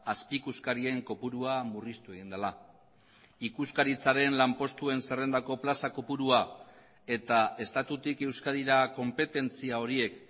azpi ikuskarien kopurua murriztu egin dela ikuskaritzaren lanpostuen zerrendako plaza kopurua eta estatutik euskadira konpetentzia horiek